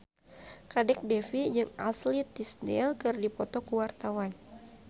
Kadek Devi jeung Ashley Tisdale keur dipoto ku wartawan